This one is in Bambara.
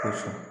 Kosɔn